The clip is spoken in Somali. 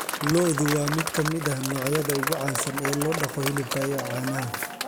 Lo'du waa mid ka mid ah noocyada ugu caansan ee loo dhaqo hilibka iyo caanaha.